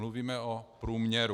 Mluvíme o průměru.